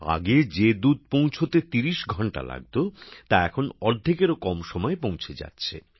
আগে যে দুধ পৌঁছাতে ৩০ ঘন্টা লাগতো তা এখন অর্ধেকেরও কম সময়ে পৌঁছে যাচ্ছে